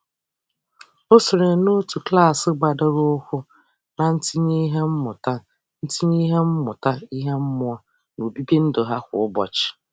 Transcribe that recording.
O sonyere n'otu klaasị gbadoroụkwụ na ntinye ihe mmụta ntinye ihe mmụta ihe mmụọ n'obibi ndụ ha kwa ụbọchị.